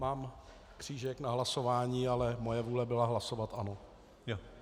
Mám křížek na hlasování, ale moje vůle byla hlasovat ano.